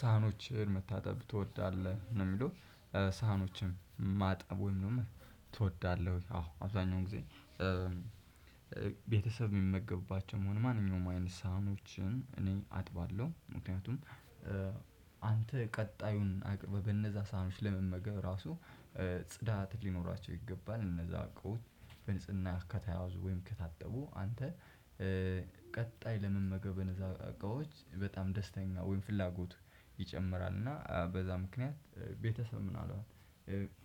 ሳህኖችን መታጠብ ትወዳለህ ነው የሚለው ሳህኖችን ማጠብ ወይም ደግሞ ትወዳለህ ወይ? አዎ አብዛኛው ጊዜ ቤተሰብ የሚመገብባቸውም ሆኑ ማንኛውም አይነት ሳህኖችን እኔ አጥባለሁ። ምክንያቱም አንተ ቀጣዩን አቅርበህ በነዛ ሰሃኖች ለመመገብ ራሱ ጽዳት ሊኖራቸው ይገባል። እነዛ እቃዎች በንጽህና ከተያያዙ ወይም ከታጠቡ አንተ ቀጣይ ለመመገብ በነዛ እቃዎች በጣም ደስተኛ ወይም ፍላጎት ይጨምራል። እና በዛ ምክንያት ቤተሰብ ምናልባት